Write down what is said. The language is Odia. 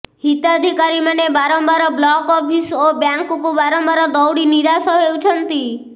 ହିତାଧିକାରୀ ମାନେ ବାରମ୍ବାର ବ୍ଲକ ଅଫିସ ଓ ବ୍ୟାଙ୍କକୁ ବାରମ୍ବାର ଦୌଡ଼ି ନିରାସ ହେଉଛନ୍ତି